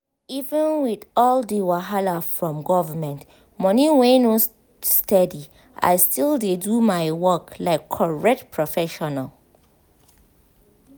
even with all the wahala from government money wey no steady i still dey do my work like correct professional.